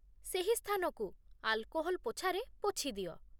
ସେହି ସ୍ଥାନକୁ ଆଲ୍କୋହଲ୍ ପୋଛାରେ ପୋଛିଦିଅ